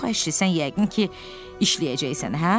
Yox əşi, sən yəqin ki, işləyəcəksən, hə?